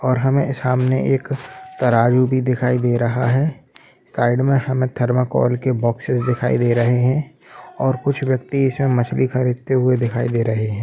और हमें सामने एक तराजू भी दिखाई दे रहा है साइड में हमें थर्मोकोल के बोक्सेस दिखाई दे रहे है और कुछ व्यक्ति इसमें मछली खरीदते हुए दिखाई दे रहे है।